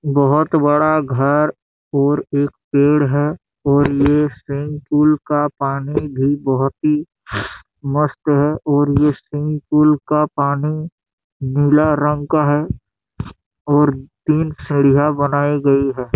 बहोत बड़ा घर और एक पेड़ है और ये स्विमिंग पूल का पानी भी बहोत ही मस्त है और ये स्विमिंग पूल का पानी नीला रंग का है और तीन सीढ़िया बनाई गई है ।